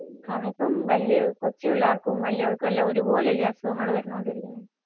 അതിപ്പോ കൊച്ചുപിള്ളേർക്കും വലിയോർക്കും എല്ലാം ഒരുപോലെ അല്ലെ അസുഖങ്ങൾ വന്നോണ്ടിരിക്കുന്നെ.